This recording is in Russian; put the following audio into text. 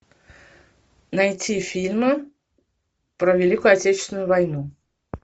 найти фильмы про великую отечественную войну